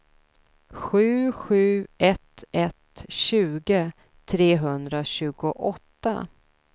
sju sju ett ett tjugo trehundratjugoåtta